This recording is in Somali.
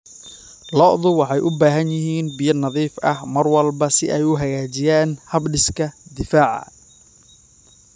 Lo'du waxay u baahan yihiin biyo nadiif ah mar walba si ay u hagaajiyaan habdhiska difaaca.